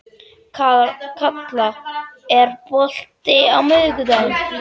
Kalla, er bolti á miðvikudaginn?